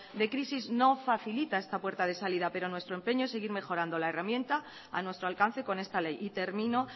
de crisis no facilita esta puerta de salida pero nuestro empeño es seguir mejorando la herramienta a nuestro alcance con esta ley y termino